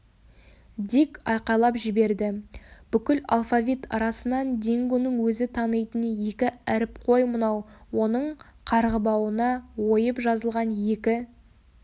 дик айқайлап жіберді бүкіл алфавит арасынан дингоның өзі танитын екі әріп қой мынау оның қарғыбауына ойып жазылған екі